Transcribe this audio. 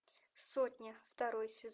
сотня второй сезон